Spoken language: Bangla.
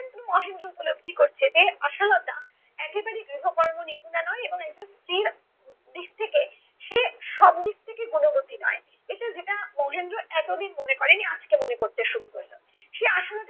মহেন্দ্র উপলব্ধি করছে যে আশালতা একেবারে গৃহকর্ম নিপুণা নয় এবং একজন স্ত্রীর দিক থেকে সে সব দিক থেকে গুণবতী নয়। এটা যেটা মহেন্দ্র এতদিন মনে করেনি আজকে মনে করতে শুরু করলো। সে আশালতাকে